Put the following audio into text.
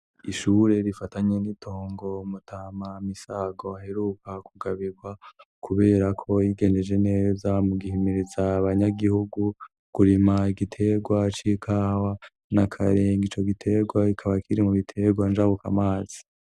Ishure rifatanye n'itongo mutama misago aheruka kugabirwa kubera ko yigendeje neza mu gihimiritza banyagihugu kurima igitegwa cikawa na kareng ico gitegwa ikaba kiri mu bitegwa njabuka amazi.